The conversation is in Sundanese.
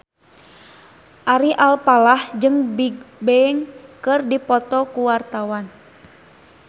Ari Alfalah jeung Bigbang keur dipoto ku wartawan